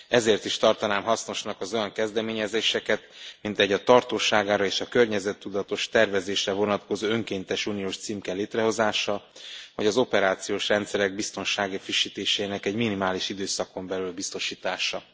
Ezért is tartanám hasznosnak az olyan kezdeményezéseket, mint egy, a tartósságára és környezettudatos tervezésre vonatkozó önkéntes uniós címke létrehozása, vagy az operációs rendszerek biztonsági frissítéseinek minimális időszakon belüli biztosítása.